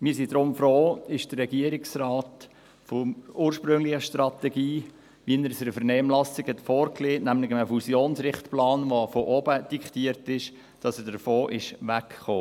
Wir sind deshalb froh, ist der Regierungsrat von der ursprünglichen Strategie, wie er sie in der Vernehmlassung vorgelegt hat, nämlich ein Fusionsrichtplan, der von oben diktiert wird, weggekommen.